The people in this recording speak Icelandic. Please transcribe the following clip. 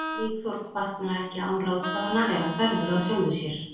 Líkþorn batnar ekki án ráðstafana eða hverfur að sjálfu sér.